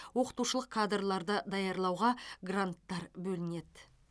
оқытушылық кадрларды даярлауға гранттар бөлінеді